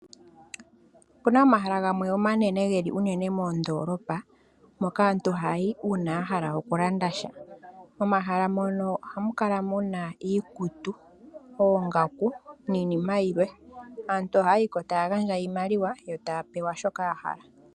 Opuna omahala gamwe omanene geli uunene mondoolopa moka aantu hayayi uuna yahala okulanda sha, momahala mono ohamu kala muna iikutu, oongaku niinima yilwe. Aantu ohayayi ko taya gandja iimaliwa yo taya pewa shoka yahala.